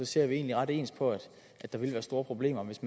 ser vi egentlig ret ens på at der vil være store problemer hvis